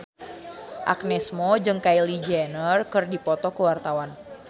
Agnes Mo jeung Kylie Jenner keur dipoto ku wartawan